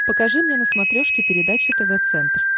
покажи мне на смотрешке передачу тв центр